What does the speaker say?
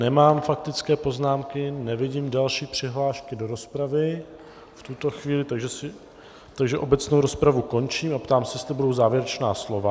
Nemám faktické poznámky, nevidím další přihlášku do rozpravy v tuto chvíli, takže obecnou rozpravu končím a ptám se, jestli budou závěrečná slova.